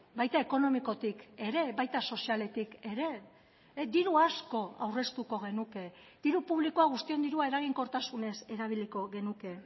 baita ekonomikotik ere baita sozialetik ere diru asko aurreztuko genuke diru publikoa guztion dirua eraginkortasunez erabiliko genuke